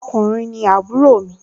ọkùnrin ni àbúrò mi